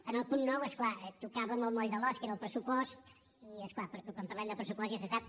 en el punt nou és clar tocàvem el moll de l’os que era el pressupost i és clar quan parlem de pressupost ja se sap